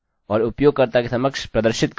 हम do शुरू करते हैं